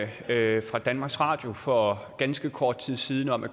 havde danmarks radio for ganske kort tid siden om at